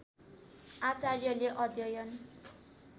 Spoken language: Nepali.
आचार्यले अध्‍ययन